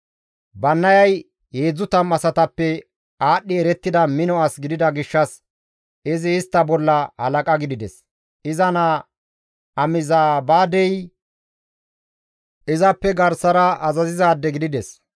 Bannayay 30 asatappe aadhdhi erettida mino as gidida gishshas izi istta bolla halaqa gidides; iza naa Amizabaadey izappe garsara azazizaade gidides.